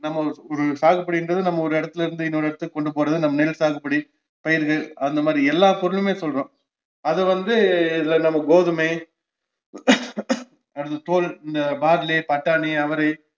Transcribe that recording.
நம்ம ஒரு சாகுபடின்றது நம்ம ஒரு இடத்துல இருந்து இன்னோரு இடத்துக்கு கொண்டுபோறது நம்ம நெல்சாகுபடி பயிரு அந்தமாதிரி எல்லா பொருளுமே சொல்றோம் அதுவந்து இதுல நம்ம கோதுமை அடுத்து barley பட்டாணி, அவரை